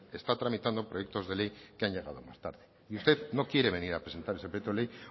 está tramitando proyectos de ley que han llegado más tarde y usted no quiere venir a presentar ese proyecto de ley